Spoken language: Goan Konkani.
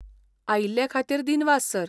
आयिल्ले खातीर दिनवास, सर.